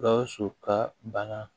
Gawusu ka bana